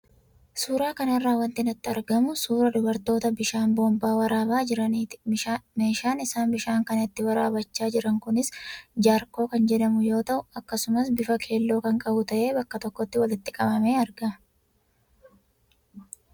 Suuraa kanarraa wanti natti argamu, suuraa dubartoota bishaan boombaa waraabaa jiraniiti. Meeshaan isaan bishaan kana itti waraabbachaa jiran kunis jaarkoo kan jedhamu yoo ta'u, akkasumas bifa keelloo kan qabu ta'ee bakka tokkotti walitti qabamee argama.